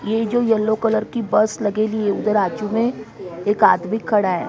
ये जो yellow colour की बस लगेली उधर आजू में एक आदमी खड़ा है ।